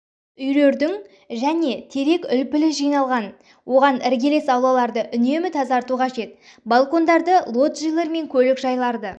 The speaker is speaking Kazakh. үйлердің және терек үлпілі жиналатын оған іргелес аулаларды үнемі тазарту қажет балкондарды лоджилер мен көлік жайларды